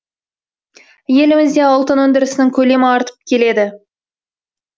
елімізде алтын өндірісінің көлемі артып келеді